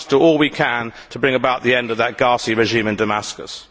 We must do all we can to bring about the end of that ghastly regime in Damascus.